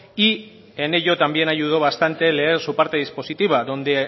y en ello también ayudó bastante leer su parte dispositiva donde